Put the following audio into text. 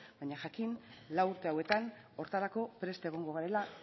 baina jakin lau urte hauetan horretarako prest egongo garela